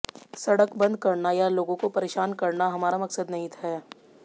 सड़क बंद करना या लोगों को परेशान करना हमारा मकसद नहीं है